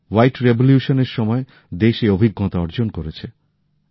শ্বেত বিপ্লবের সময় দেশ এই অভিজ্ঞতা অর্জন করেছে